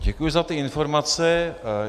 Děkuji za ty informace.